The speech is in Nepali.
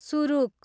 सुरुक